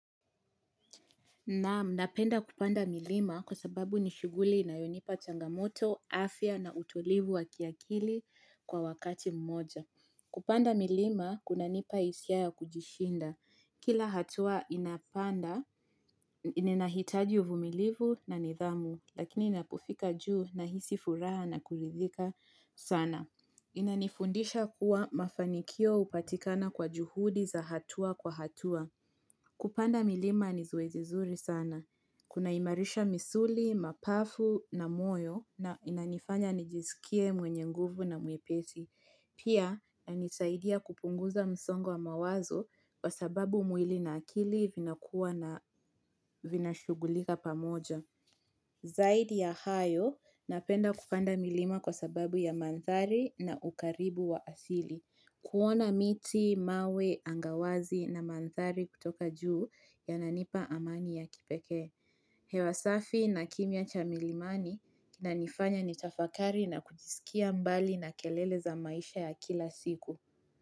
Napenda kupanda milima kwa sababu ni shughuli inayonipa changamoto, kunijengea afya bora na kunipa utulivu wa akili kwa wakati mmoja. Kupanda milima, kunanipa hisia kujishinda. Kila hatua ya kupanda inahitaji uvumilivu na nidhamu, lakini ninapofika kileleni, nahisi furaha na kuridhika sana. Inanifundisha kuwa mafanikio upatikana kwa juhudi za hatua kwa hatua. Kupanda milima ni zoezi zuri sana. Kuna imarisha misuli, mapafu na moyo na inanifanya nijizikie mwenye nguvu na mwepesi. Pia nisaidia kupunguza msongo mawazo kwa sababu mwili na akili vinakua na vina shugulika pamoja. Zaidi ya hayo, napenda kupanda milima kwa sababu ya mandhari na ukaribu wa asili. Kuona miti, mawe, angawazi na mandhari kutoka juu yananipa amani ya kipeke. Hewasafi na kimya cha milimani inifanya nitafakari na kujisikia mbali na kelele za maisha ya kila siku.